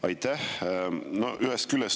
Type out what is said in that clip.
Aitäh!